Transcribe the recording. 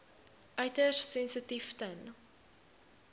uiters sensitief ten